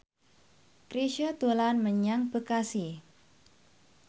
Chrisye dolan menyang Bekasi